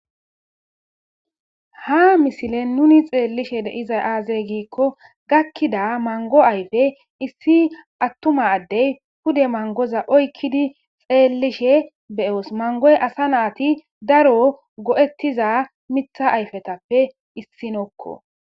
ha misile nuni xeellishe deizay aaze giikko gakkida mango ayfe issi attuma addey pude mangoza oykkidi xeellishe beyoos mangoy asa naati daro go7ettiza mitha ayfetappe issi nokko